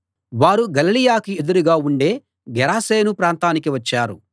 వారు గలిలయకి ఎదురుగా ఉండే గెరాసేను ప్రాంతానికి వచ్చారు